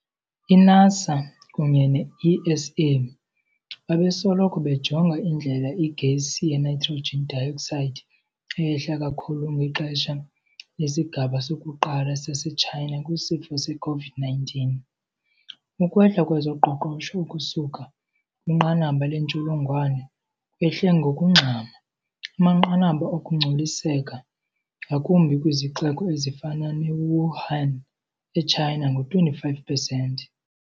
I-NASA kunye ne-ESA bebesoloko bejonga indlela igesi yeNitrogen dioxide eyehle kakhulu ngexesha lesigaba sokuqala saseTshayina kwisifo se-COVID-19. Ukwehla kwezoqoqosho ukusuka kwinqanaba lentsholongwane kwehle ngokungxama amanqanaba okungcoliseka, ngakumbi kwizixeko ezifana neWuhan, eChina ngo-25 percent.